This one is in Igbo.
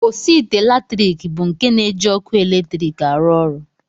Osiite latrik bụ nke na-eji ọkụ eletrik arụ ọrụ